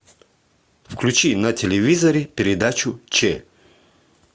включи на телевизоре передачу че